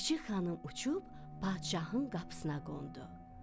Çik-çik xanım uçub padşahın qapısına qondu.